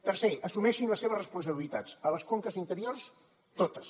tercer assumeixin les seves responsabilitats a les conques interiors totes